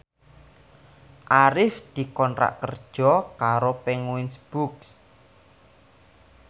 Arif dikontrak kerja karo Penguins Books